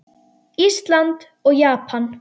Ísland og Japan.